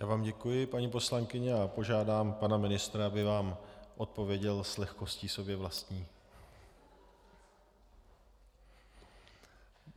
Já vám děkuji, paní poslankyně, a požádám pana ministra, aby vám odpověděl s lehkostí sobě vlastní.